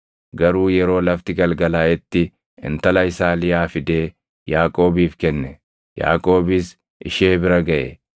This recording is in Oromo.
Garuu yeroo lafti galgalaaʼetti intala isaa Liyaa fidee Yaaqoobiif kenne; Yaaqoobis ishee bira gaʼe.